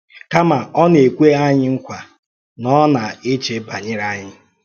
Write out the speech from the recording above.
Kàmá, ọ na-ekwè anyị nkwa na ọ̀ná eche banyere anyị